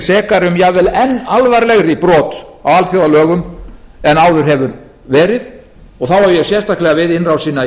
sekari um jafnvel enn alvarlegri brot á alþjóðalögum en áður hefur verið og þá ég sérstaklega við innrásina í